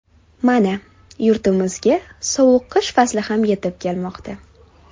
Mana yurtimizga sovuq qish fasli ham yetib kelmoqda.